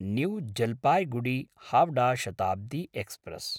new जलपायिगुडी–हावडा Shatabdi express